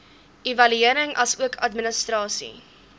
evaluering asook administrasie